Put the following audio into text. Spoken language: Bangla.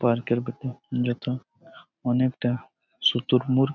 পার্কের ভিতর যেটা অনেক টা সুতর মুল ।